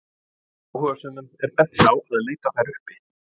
Áhugasömum er bent á að leita þær uppi.